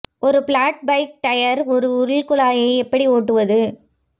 ஒரு flat bike tyre ஒரு உள் குழாயை எப்படி ஒட்டுவது